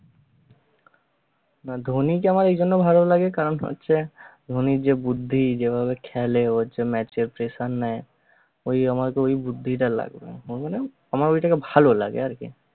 না ধোনীকে আমার এইজন্য ভালো লাগে কারণ হচ্ছে ধোনির যে বুদ্ধি যেভাবে খেলে যে ওর যে নেয় ওই আমাকে ওই বুদ্ধিটা লাগবে বুঝনি, আমার ওইটাকে ভালো লাগে আর কি